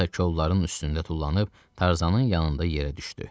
Şita kolların üstündə tullanıb Tarzanın yanında yerə düşdü.